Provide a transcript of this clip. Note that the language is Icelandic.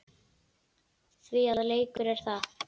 Því að leikur er það.